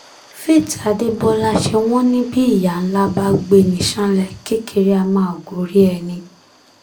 faith adébọlá ṣé wọ́n ní bí ìyá ńlá bá gbé ní ṣánlẹ̀ kékeré á máa gorí ẹni